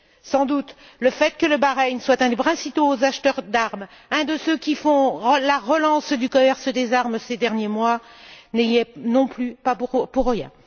Sans doute, le fait que le Bahreïn soit un des principaux acheteurs d'armes, un de ceux qui font la relance du commerce des armes, ces derniers mois, n'y est pas non plus pour rien.